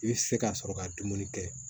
I bɛ se ka sɔrɔ ka dumuni kɛ